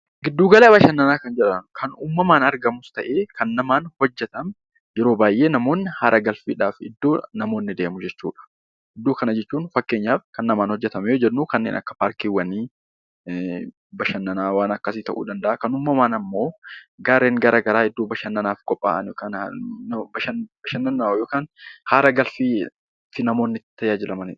Giddu gala bashannanaa jechuun iddoo uummanni baayyinaan itti argamu, ta'ee kan namaan hojjetamu. Yeroo baayyee namoonni haara galfiif kan deemu jechuudha. Kan namaan hojjetame fakkeenyaaf kanneen akka paarkiiwwanii, bashannana ta'uu danda'a. Kan uumamaa immoo gaarreen garaagaraa Iddoo bashannanaaf qophaa'an bashannanaaf yookaan haara galfiif namoonni itti tajaajilamanidha.